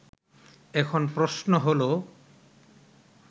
এখন প্রশ্ন হলো